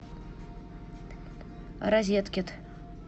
розеткед